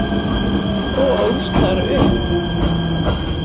og ólst þar upp.